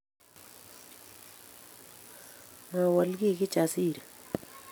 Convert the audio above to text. Mowol kiy Kijasiri